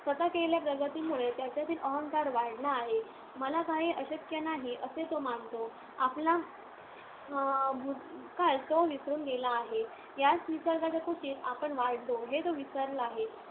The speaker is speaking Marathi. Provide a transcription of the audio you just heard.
स्वतः केलेल्या प्रगतीमुळे त्याच्यातील अहंकार वाढला आहे. मला काहीही अशक्य नाही असे तो मानतो. आपला अं भूतकाळ तो विसरून गेला आहे. याच निसर्गाच्या कुशीत आपण वाढलो, हे तो विसरला आहे.